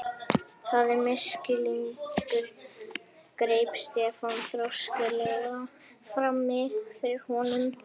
Það er misskilningur greip Stefán þrjóskulega frammi fyrir honum.